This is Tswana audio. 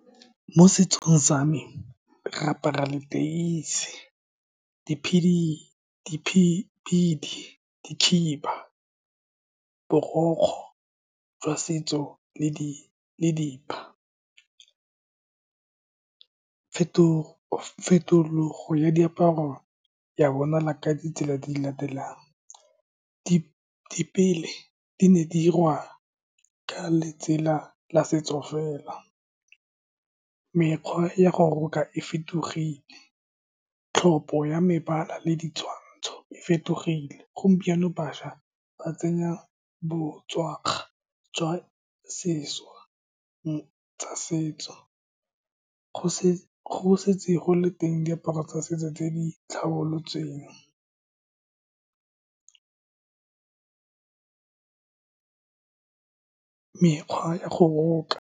Mo setsong sa me, re apara leteisi, di , di khiba, borokgwe jwa setso le di fetologo ya diaparo ya bonala ka ditsela tse di latelang, di di ne di diriwa ka letsela la setso fela, mekgwa ya go roka e fetogile, tlhopho ya mebala le ditshwantsho e fetogile. Gompieno, bašwa ba tsenya botswakga jwa sesha tsa setso, go go setse go le teng diaparo tsa setso tse di tlhabolotsweng mekgwa ya go roka.